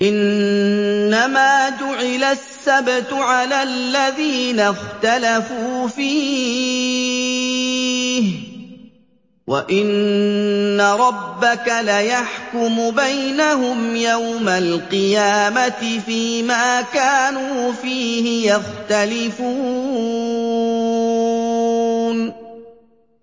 إِنَّمَا جُعِلَ السَّبْتُ عَلَى الَّذِينَ اخْتَلَفُوا فِيهِ ۚ وَإِنَّ رَبَّكَ لَيَحْكُمُ بَيْنَهُمْ يَوْمَ الْقِيَامَةِ فِيمَا كَانُوا فِيهِ يَخْتَلِفُونَ